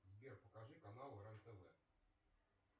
сбер покажи канал рен тв